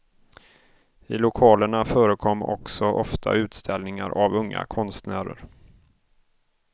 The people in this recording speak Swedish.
I lokalerna förekom också ofta utställningar av unga konstnärer.